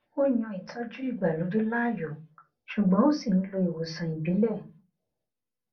ó yan ìtọjú ìgbàlódé láàyò ṣùgbọn ó ṣì n lo ìwòsàn ìbílẹ